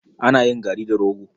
Ana yin gari da rogo.